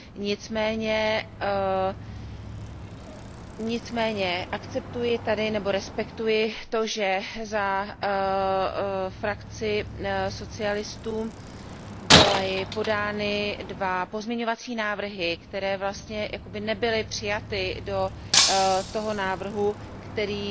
Nicméně akceptuji tady, nebo respektuji to, že za frakci socialistů byly podány dva pozměňovací návrhy, které vlastně jakoby nebyly přijaty do toho návrhu, který